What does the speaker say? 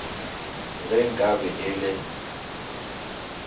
ge nka be e le